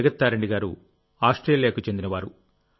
జగత్ తారిణి గారు ఆస్ట్రేలియాకు చెందినవారు